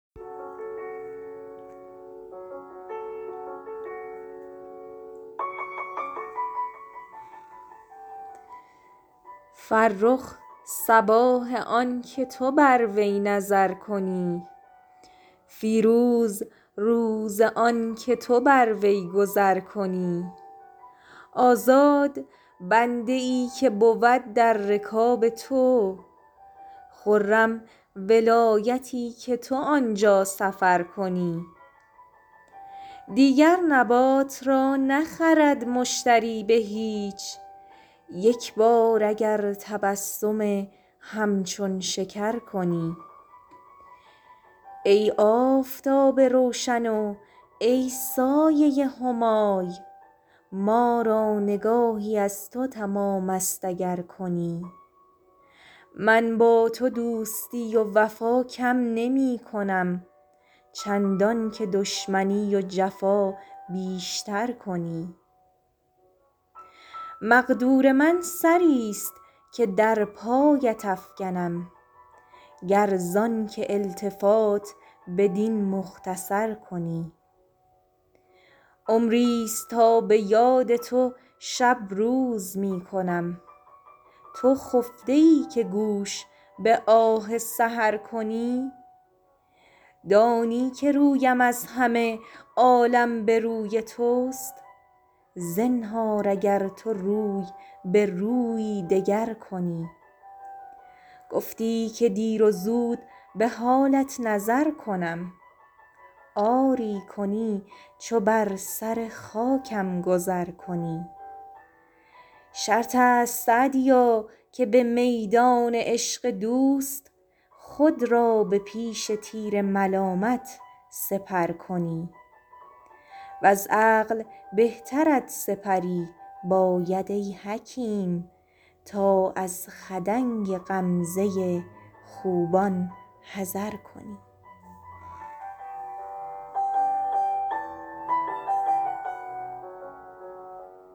فرخ صباح آن که تو بر وی نظر کنی فیروز روز آن که تو بر وی گذر کنی آزاد بنده ای که بود در رکاب تو خرم ولایتی که تو آن جا سفر کنی دیگر نبات را نخرد مشتری به هیچ یک بار اگر تبسم همچون شکر کنی ای آفتاب روشن و ای سایه همای ما را نگاهی از تو تمام است اگر کنی من با تو دوستی و وفا کم نمی کنم چندان که دشمنی و جفا بیش تر کنی مقدور من سری ست که در پایت افکنم گر زآن که التفات بدین مختصر کنی عمری ست تا به یاد تو شب روز می کنم تو خفته ای که گوش به آه سحر کنی دانی که رویم از همه عالم به روی توست زنهار اگر تو روی به رویی دگر کنی گفتی که دیر و زود به حالت نظر کنم آری کنی چو بر سر خاکم گذر کنی شرط است سعدیا که به میدان عشق دوست خود را به پیش تیر ملامت سپر کنی وز عقل بهترت سپری باید ای حکیم تا از خدنگ غمزه خوبان حذر کنی